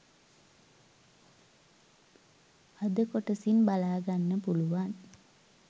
අද කොටසින් බලාගන්න පුලුවන්.